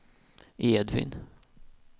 Edvin